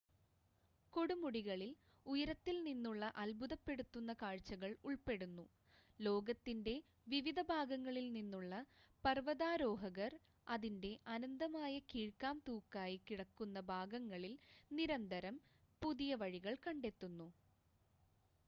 കൊടുമുടികളിൽ ഉയരത്തിൽ നിന്നുള്ള അത്ഭുതപ്പെടുത്തുന്ന കാഴ്ചകൾ ഉൾപ്പെടുന്നു ലോകത്തിൻ്റെ വിവിധ ഭാഗങ്ങളിൽ നിന്നുള്ള പർവതാരോഹകർ അതിൻ്റെ അനന്തമായ കീഴ്‌ക്കാംതൂക്കായി കിടക്കുന്ന ഭാഗങ്ങളിൽ നിരന്തരം പുതിയ വഴികൾ കണ്ടെത്തുന്നു